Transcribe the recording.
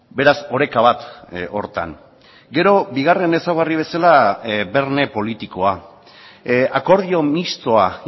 beraz oreka bat horretan gero bigarren ezaugarri bezala berme politikoa akordio mistoa